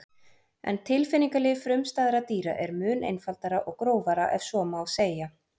En tilfinningalíf frumstæðra dýra er mun einfaldara og grófara ef svo má segja.